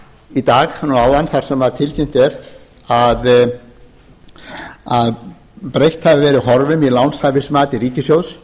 í dag núna áðan þar sem tilkynnt er að breytt hafi verið horfum í lánshæfismati ríkissjóðs